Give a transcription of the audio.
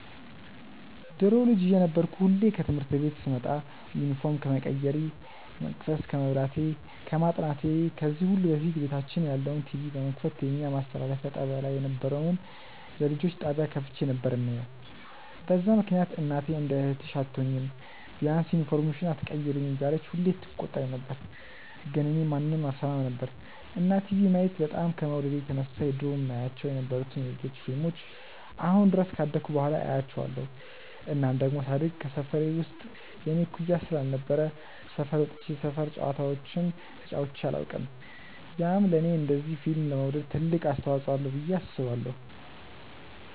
ድሮ ልጅ እየነበርኩ ሁሌ ከትምህርት ቤት ስመጣ ዩኒፎርም ከመቀየሬ፣ መቅሰስ ከመብላቴ፣ ከማጥናቴ ከዚህ ሁሉ በፊት ቤታችን ያለውን ቲቪ በመክፈት የኛ ማስተላለፊያ ጣብያ ላይ የነበረውን የልጆች ጣብያ ከፍቼ ነበር የማየው፤ በዛ ምክንያት እናቴ እንደ እህትሽ አትሆኚም፤ ቢያንስ ዩኒፎርምሽን ኣትቀይሪም እያለች ሁሌ ትቆጣኝ ነበር ግን እኔ ማንንም አልሰማም ነበር። እና ቲቪ ማየት በጣም ከመውደዴ የተነሳ የድሮ የማያቸው የነበሩትን የ ልጆች ፊልሞችን አሁን ድረስ ካደኩ በኋላ አያቸዋለው። እናም ደሞ ሳድግ ከሰፈሬ ውስጥ የኔ እኩያ ስላልነበረ ሰፈር ወጥቼ የሰፈር ጨዋታዎችን ተጫዉቼ ኣላውቅም፤ ያም ለኔ እንደዚ ፊልም ለመውደድ ትልቅ አስተዋፅዎ አለው ብዬ አስባለው።